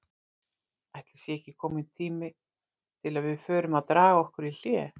Ætli sé ekki kominn tími til að við förum að draga okkur í hlé?